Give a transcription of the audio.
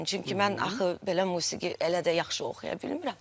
Çünki mən axı belə musiqi elə də yaxşı oxuya bilmirəm.